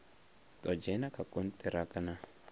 ḓo dzhena kha kontiraka na